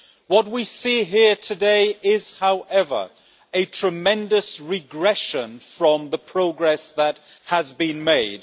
What we see here today is, however, a tremendous regression from the progress that has been made.